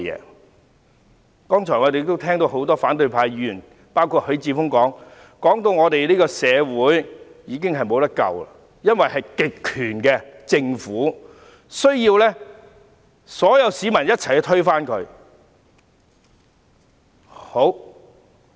我們剛才聽到包括許智峯議員之內的多位反對派議員發言，指我們這個社會已無藥可救，因為是一個極權政府，需要所有市民共同推翻。